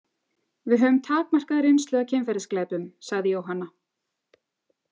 Við höfum takmarkaða reynslu af kynferðisglæpum, sagði Jóhanna.